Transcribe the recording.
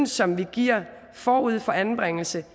som vi giver forud for anbringelse